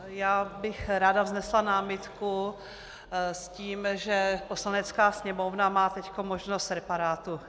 Já bych ráda vznesla námitku s tím, že Poslanecká sněmovna má teď možnost reparátu.